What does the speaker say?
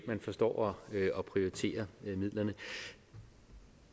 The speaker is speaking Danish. man forstår at prioritere midlerne